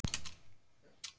Hvers vegna hnerrar maður?